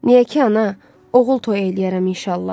Niyə ki ana, oğul toy eləyərəm inşallah.